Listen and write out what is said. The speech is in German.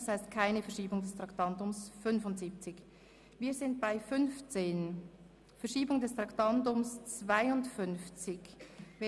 Das heisst, es gibt keine Verschiebung des Traktandums 75.